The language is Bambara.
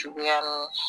Cogoya